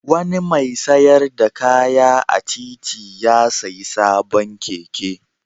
Wani mai sayar da kaya a titi ya sayi sabon keke.